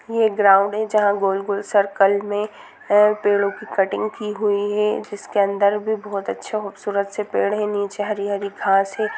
ये ग्राउंड है जहां गोल - गोल सर्कल में पेड़ों की कटिंग की हुई है जिसके अंदर भी बहुत अच्छा खुबसूरत से पेड़ है नीचे हरी-हरी घास है।